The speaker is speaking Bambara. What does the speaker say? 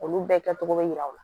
Olu bɛɛ kɛcogo bɛ yira u la